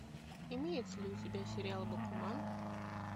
имеется ли у тебя сериал бакуман